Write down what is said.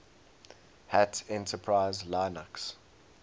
hat enterprise linux